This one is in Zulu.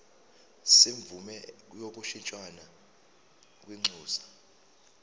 semvume yokushintshisana kwinxusa